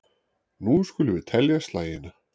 Nú skulum við telja slagina.